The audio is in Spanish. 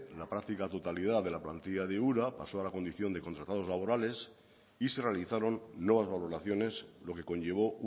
la práctica totalidad de la plantilla de ura pasó a la condición de contratados laborales y se realizaron nuevas valoraciones lo que conllevó